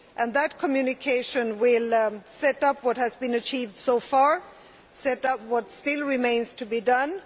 That Communication will set out what has been achieved so far and what still remains to be done.